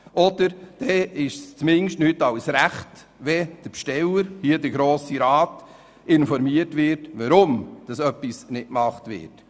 Oder zumindest wäre es angebracht, den Besteller – in diesem Fall der Grosse Rat – zu informieren, weshalb etwas nicht gemacht wird.